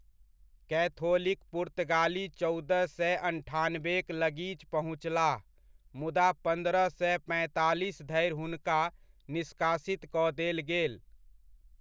Catholic पुर्तगाली चौदह सए अन्ठानबेक लगीच पहुँचलाह मुदा, पन्द्रह सए पैंतालीस धरि हुनका निष्कासित कऽ देल गेल।